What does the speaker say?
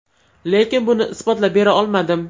Lekin buni isbotlab bera olmadim.